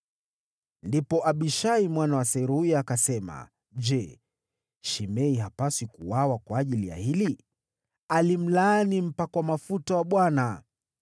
Ndipo Abishai mwana wa Seruya akasema, “Je, Shimei hapaswi kuuawa kwa ajili ya hili? Alimlaani mpakwa mafuta wa Bwana .”